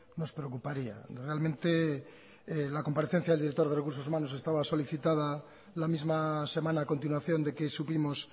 nos preocuparía realmente la comparencia del director de recursos humanos estaba solicitada la misma semana a continuación de que supimos